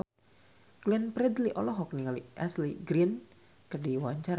Glenn Fredly olohok ningali Ashley Greene keur diwawancara